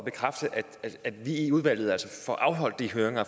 bekræfte at vi i udvalget får afholdt de høringer og